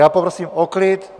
Já poprosím o klid!